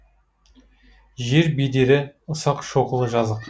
жер бедері ұсақ шоқылы жазық